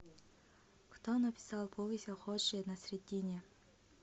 кто написал повесть о ходже насреддине